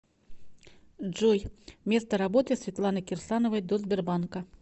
джой место работы светланы кирсановой до сбербанка